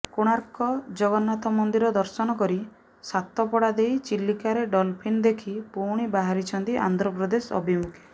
କୋଣାର୍କ ଜଗନ୍ନାଥ ମନ୍ଦିର ଦର୍ଶନ କରି ସାତପଡା ଦେଇ ଚିଲିକାରେ ଡଲଫିନ ଦେଖି ପୁଣି ବାହାରିଛନ୍ତି ଆନ୍ଧ୍ରପ୍ରଦେଶ ଅଭିମୁଖେ